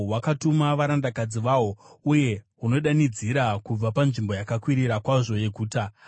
Hwakatuma varandakadzi vahwo, uye hunodanidzira kubva panzvimbo yakakwirira kwazvo yeguta.